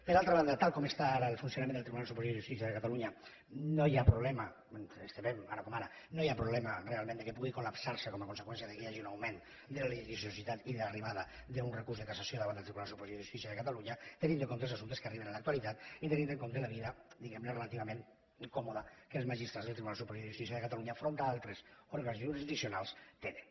per altra banda tal com està ara el funcionament del tribunal superior de justícia de catalunya no hi ha problema ens temem ara com ara realment que pugui col·lapsar se com a conseqüència que hi hagi un augment de la litigiositat i de l’arribada d’un recurs de cassació davant del tribunal superior de justícia de catalunya tenint en compte els assumptes que arriben en l’actualitat i tenint en compte la vida diguem ne relativament còmoda que els magistrats del tribunal superior de justícia de catalunya enfront d’altres òrgans jurisdiccionals tenen